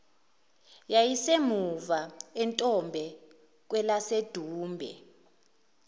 yayisemuva entombe kwelasedumbe